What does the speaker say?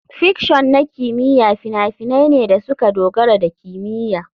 Fiction na kimiyya fina-finai ne da suka dogara da kimiyya.